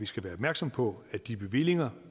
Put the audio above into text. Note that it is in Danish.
skal være opmærksom på at de bevillinger